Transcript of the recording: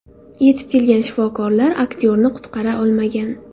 Yetib kelgan shifokorlar aktyorni qutqara olmagan.